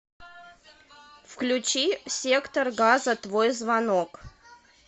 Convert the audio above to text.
включи сектор газа твой звонок